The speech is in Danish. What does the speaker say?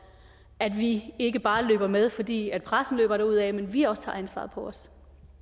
at vi ikke bare løber med fordi pressen løber derudad men at vi også tager ansvaret på os